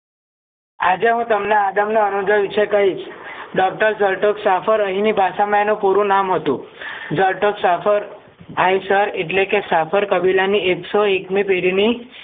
આજે હું તમને આદમનો અનુંદય વિષે કહીશ ડોક્ટર જરતોક શાફરે અહીંની ભાષામાં પૂરું નામ હતું જરતોક શાફર આઇસર એટલેકે સંભાર કબીલાની એકો એકની પેઢી ની